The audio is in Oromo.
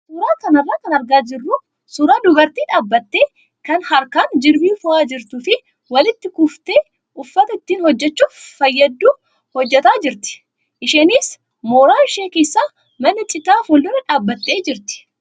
Suuraa kanarraa kan argaa jirru suuraa dubartii dhaabbattee kan harkaan jirbii fo'aa jirtuu fi walitti kuuftee uffata ittiin hojjachuuf fayyadu hojjataa jirti. Isheenis mooraa ishee keessa mana citaa fuuldura dhaabbattee jirti.